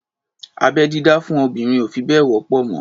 Abẹ́-dídá fún obìnrin ò fi bẹ́ẹ̀ wọ́pọ̀ mọ́.